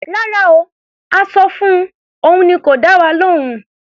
Rárá o. A sọ fun, òun ni kò dá wa lóhùn.